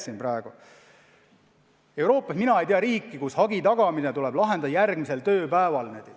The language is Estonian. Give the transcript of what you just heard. Mina ei tea Euroopas riiki, kus hagi tagamine tuleb lahendada järgmisel tööpäeval.